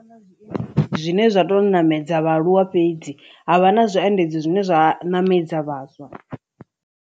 Zwine zwa to ṋamedza vhaaluwa fhedzi ha vha na zwiendedzi zwine zwa ṋamedza vhaswa.